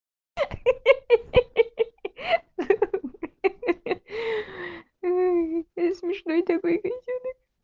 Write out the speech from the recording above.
хи-хи смешной такой котёнок